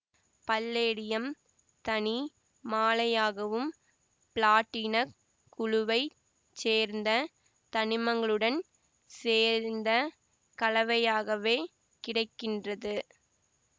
palladium தனி மாழையாகவும் பிளாட்டினக் குழுவை சேர்ந்த தனிமங்களுடன் சேந்த கலவையாகவே கிடை கின்றது